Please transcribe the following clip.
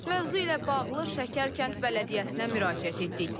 Mövzu ilə bağlı Şəkər kənd bələdiyyəsinə müraciət etdik.